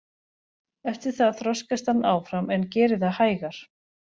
Eftir það þroskast hann áfram en gerir það hægar.